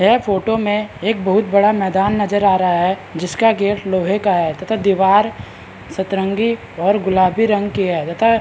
यह फोटो में एक बहुत बड़ा मैदान नज़र आ रहा है जिसका गेट लोहे का है तथा दिवार सतरंगी और गुलाबी रंग की है तथा --